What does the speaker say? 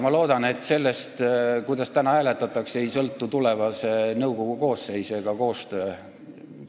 Ma loodan, et sellest, kuidas täna hääletatakse, ei sõltu tulevase nõukogu koosseis ega koostöö.